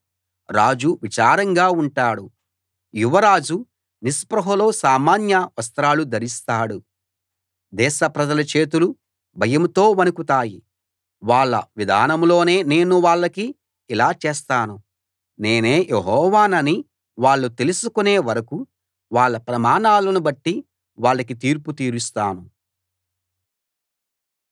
రాజు విచారంగా ఉంటాడు యువరాజు నిస్పృహలో సామాన్య వస్త్రాలు ధరిస్తాడు దేశ ప్రజల చేతులు భయంతో వణకుతాయి వాళ్ళ విధానంలోనే నేను వాళ్లకి ఇలా చేస్తాను నేనే యెహోవానని వాళ్ళు తెలుసుకునే వరకూ వాళ్ళ ప్రమాణాలను బట్టే వాళ్ళకి తీర్పు తీరుస్తాను